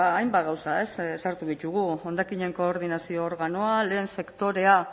hainbat gauza sartu ditugu hondakinen koordinazio organoa